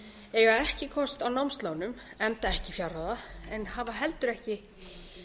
eiga ekki kost á námslánum enda ekki fjárráða en hafa heldur ekki